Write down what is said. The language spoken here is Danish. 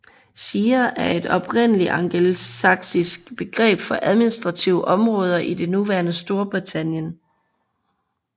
Shire er et oprindeligt angelsaksisk begreb for administrative områder i det nuværende Storbritannien